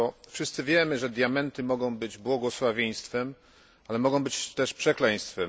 Wszyscy wiemy, że diamenty mogą być błogosławieństwem, ale mogą być też przekleństwem.